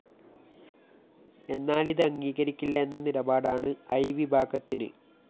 എന്നാല്‍ ഇത് അംഗീകരിക്കില്ല എന്ന നിലപാടാണ് ഐവിഭാഗത്തിന്